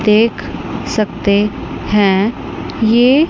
देख सकते है ये--